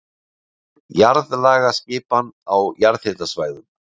Jarðlagaskipan á jarðhitasvæðum